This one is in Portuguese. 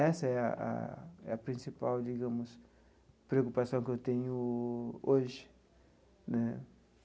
Essa é a é a principal digamos preocupação que eu tenho hoje né.